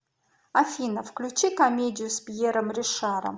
афина включи комедию с пьером ришаром